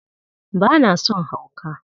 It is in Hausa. Ba na son hauka!